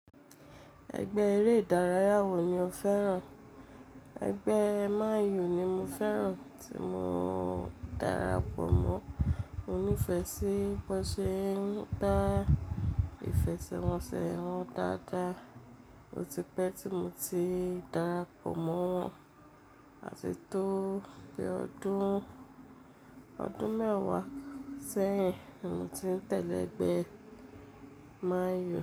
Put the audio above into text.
Ẹgbẹ́ eré ìdárayá wo ni o fẹ́ràn? Ẹgbẹ́ Man U ni mo fẹ́ràn tí mo darapọ̀ mọ́. Mo nífẹ̀ẹ́ sí bó ṣe ń dá ìfẹ́ṣẹ́wọnsẹ̀ wọn dáadáa. Ó ti pẹ́ tí mo ti darapọ̀ mọ́ wọn àti tó di ọdún, ọdún mẹ́wàá sẹ́yìn ni mo ti ń tẹ́lẹ̀ ẹgbẹ́ Man U.